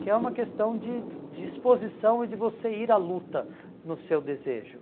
Que é uma questão de disposição e de você ir à luta no seu desejo.